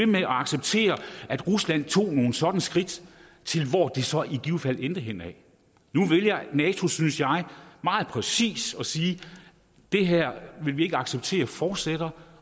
med at acceptere at rusland tog nogle sådanne skridt til hvor det så i givet fald endte henne nu vælger nato synes jeg meget præcis at sige at det her vil vi ikke acceptere fortsætter